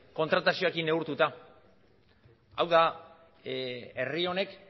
kontratazioekin neurtuta hau da herri honek